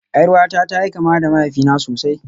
Yar uwata ta yi kama da mahaifina sosai